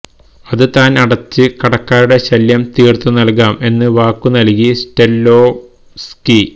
അത് താൻ അടച്ച് കടക്കാരുടെ ശല്യം തീർത്തു നൽകാം എന്ന് വാക്കുനല്കി സ്റ്റെല്ലോവ്സ്കി